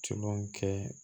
Coman kɛ